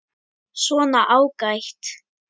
Svona, ágætt.